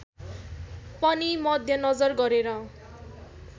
पनि मध्यनजर गरेर